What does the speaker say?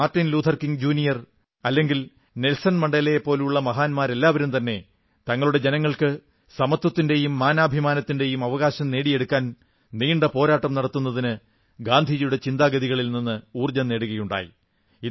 Martin Luther King junior അല്ലെങ്കിൽ Nelson മണ്ടേലയെപ്പോലുള്ള മഹാന്മാർ എല്ലാവരും തന്നെ തങ്ങളുടെ ജനങ്ങൾക്ക് സമത്വത്തിന്റെയും മാനാഭിമാനത്തിന്റെയും അവകാശം നേടിക്കൊടുക്കാൻ നീണ്ട പോരാട്ടം നടത്തുന്നതിന് ഗാന്ധിജിയുടെ ചിന്താഗതികളിൽ നിന്ന് ഊർജ്ജം നേടുകയുണ്ടായി